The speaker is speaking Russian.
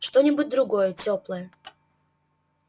что-нибудь другое тёплое